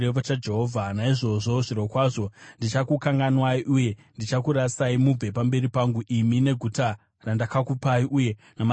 Naizvozvo, zvirokwazvo ndichakukanganwai uye ndichakurasai mubve pamberi pangu imi neguta randakakupai uye namadzibaba enyu.